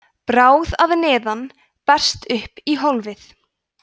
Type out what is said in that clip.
bráð að neðan berst upp í hólfið